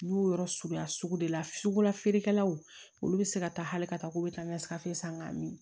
N y'o yɔrɔ suguya sugu de la sugu la feerekɛlaw olu bɛ se ka taa hali ka taa k'u bɛ taa ɲɛsan k'a min